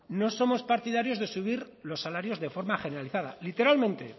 no somos partidarios de subir los salarios de forma generalizada literalmente